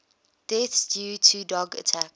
deaths due to dog attacks